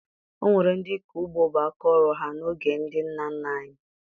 O nwere ndị ịkọ ugbo bụ aka ọrụ ha n'oge ndị nna nna anyị